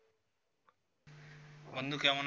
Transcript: বন্ধু কেমন আছো?